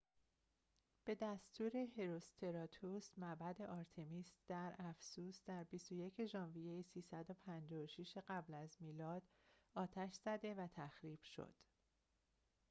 به دستور هروستراتوس معبد آرتمیس در افسوس در ۲۱ ژوئیه ۳۵۶ قبل از میلاد آتش زده و تخریب شد